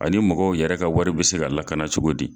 Ani mɔgɔw yɛrɛ ka wari bɛ se ka lakana cogo di.